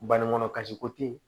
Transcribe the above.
Banikɔnɔ kasi ko te ye